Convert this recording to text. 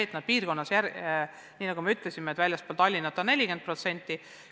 Aga piirkondades, väljaspool suurlinnu on nendest 40%.